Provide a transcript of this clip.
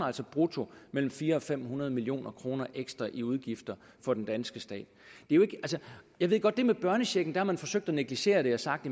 altså brutto mellem fire hundrede og fem hundrede million kroner ekstra i udgifter for den danske stat jeg ved godt at med børnechecken har man forsøgt at negligere det og sagt